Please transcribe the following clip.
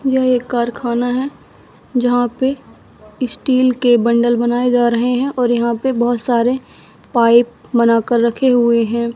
यह एक कारखाना है जहां पे स्टील के बंडल बनाए जा रहे हैं और यहां पे बहोत सारे पाइप बना कर रखे हुए हैं।